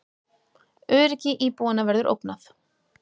Öryggi íbúanna verður ógnað